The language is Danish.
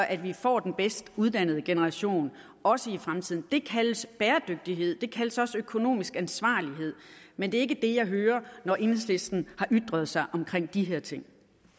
at vi får den bedst uddannede generation også i fremtiden det kaldes bæredygtighed det kaldes også økonomisk ansvarlighed men det er ikke det jeg hører når enhedslisten har ytret sig om de her ting